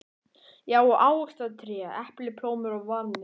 Já, og ávaxtatré: epli, plómur og valhnetur.